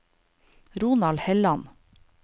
Ronald Helland